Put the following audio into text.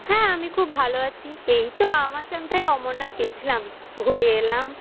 হ্যা, আমি খুব ভাল আছি। এই তো বাবা মার সাথে অমরনাথ গেছিলাম ঘুরে এলাম।